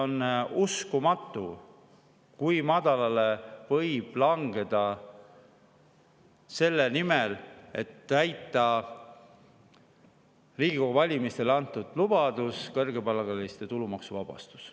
On uskumatu, kui madalale võib langeda selle nimel, et täita Riigikogu valimistel antud lubadus – kõrgepalgaliste tulumaksuvabastus.